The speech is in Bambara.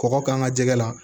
Kɔkɔ k'an ka jɛgɛ la